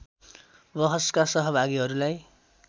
वहसका सहभागीहरूलाई